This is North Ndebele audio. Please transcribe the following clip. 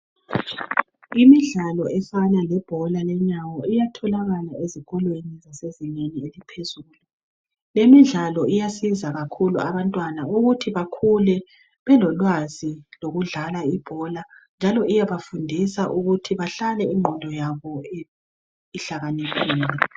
Imidlalo efana lebhola iyatholakala esikolweni sezinga laphezulu. Imidlalo iyasiza kakhulu abantwana ukuthi bakhule belolwazi lokudlala ibhola njalo iyabafundisa ukuthi bahlale ingqondo yabo ihlakaniphile.